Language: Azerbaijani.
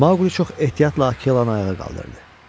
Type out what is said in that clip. Mauqli çox ehtiyatla Akelanın ayağa qaldırdı.